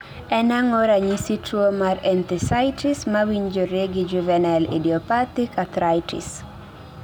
En ang'o ranyisi tuo mar Enthesitis mawinjore gi juvenile idiopathic arthritis?